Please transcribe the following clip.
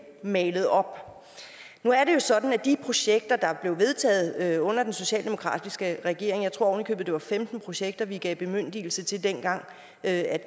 malet op nu er det jo sådan at de projekter der blev vedtaget under den socialdemokratiske regering jeg tror oven i købet det var femten projekter vi dengang gav bemyndigelse til at